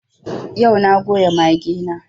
Yau na goya mage na